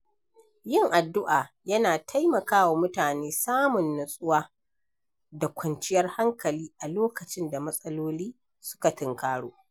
Yin addu’a yana taimakawa mutane samun nutsuwa da kwanciyar hankali a lokacin da matsaloli suka tunkaro.